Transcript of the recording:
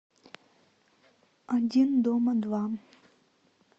один дома два